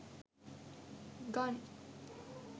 gun